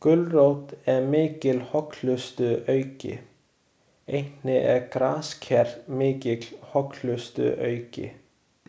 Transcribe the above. Gulrót er mikil hollustuauki, einnig er grasker mikill hollustuauki.